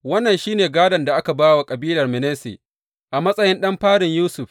Wannan shi ne gādon da aka ba wa kabilar Manasse, a matsayin ɗan farin Yusuf.